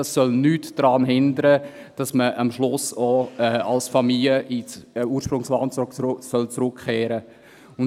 Das soll nicht daran hindern, dass man am Schluss auch als Familie ins Ursprungsland zurückkehren soll.